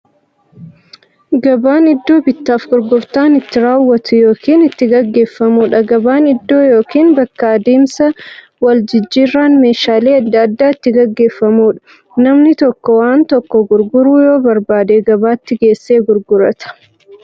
Gabaan iddoo bittaaf gurgurtaan itti raawwatu yookiin itti gaggeeffamuudha. Gabaan iddoo yookiin bakka adeemsa waljijjiiraan meeshaalee adda addaa itti gaggeeffamuudha. Namni tokko waan tokko gurguruu yoo barbaade, gabaatti geessee gurgurata.